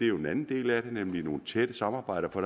jo en anden del af det nemlig nogle tætte samarbejder for